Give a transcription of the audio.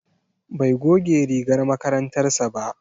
Bai goge rigar makarantar sa ba.